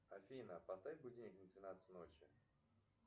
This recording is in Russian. афина поставь будильник на двенадцать ночи